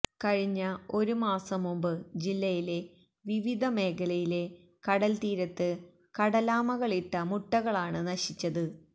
കഴിഞ്ഞ ഒരുമാസം മുമ്പ് ജില്ലയിലെ വിവധമേഖലയിലെ കടല്തീരത്ത് കടലാമകളിട്ട മുട്ടകളാണ് നശിച്ചത്